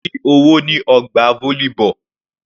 Mo rí owó ní ọgbà volleyball.